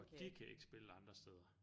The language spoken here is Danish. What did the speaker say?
Og de kan ikke spille andre steder